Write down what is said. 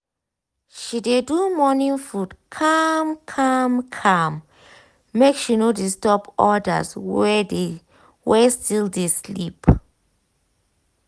she dey do morning food calm calm calm make she no disturb others wey still dey sleep.